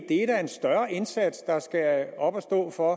det er en større indsats der skal op at stå for at